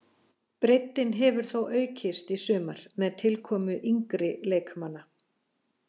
Breiddin hefur þó aukist í sumar með tilkomu yngri leikmanna.